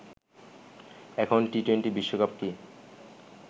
এখন টি-টোয়েন্টি বিশ্বকাপ কি